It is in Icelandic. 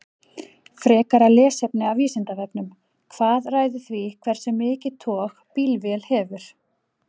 Frekara lesefni af Vísindavefnum: Hvað ræður því hversu mikið tog bílvél hefur?